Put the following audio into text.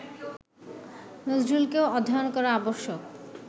নজরুলকেও অধ্যয়ন করা আবশ্যক